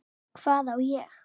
Hvað á ég?